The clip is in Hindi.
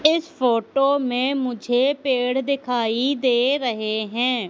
इस फोटो में मुझे पेड़ दिखाई दे रहें हैं।